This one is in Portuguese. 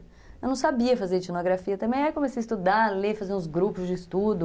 Eu não sabia fazer etnografia também, aí comecei a estudar, ler, fazer uns grupos de estudo,